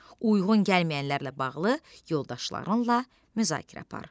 Uyğun gəlməyənlərlə bağlı yoldaşlarınla müzakirə apar.